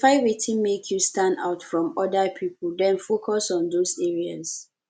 identify wetin make you stand out from oda pipo then focus on those areas